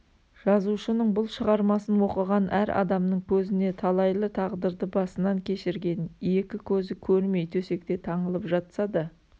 жазушының бұл шығармасын оқыған әр адамның көзіне талайлы тағдырды басынан кешірген екі көзі көрмей төсекте таңылып жатса да